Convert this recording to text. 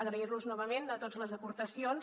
agrair los novament a tots les aportacions